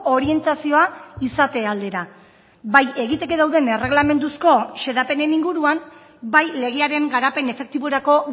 orientazioa izate aldera bai egiteke dauden erregelamenduzko xedapenen inguruan bai legearen garapen efektiborako